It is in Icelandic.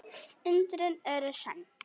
Undrin eru sönn.